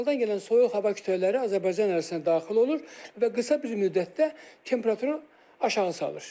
Şimaldan gələn soyuq hava kütlələri Azərbaycan ərazisinə daxil olur və qısa bir müddətdə temperaturu aşağı salır.